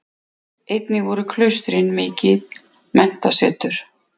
Einnig voru klaustrin mikil menntasetur.